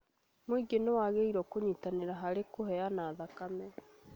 Mũingĩ nĩwagĩrĩirwo nĩ kũnyitanĩra harĩ kũheana thakame